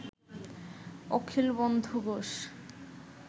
Akhilbandhu Ghosh